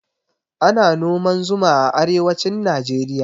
Ana noman zuma a arewacin najeriya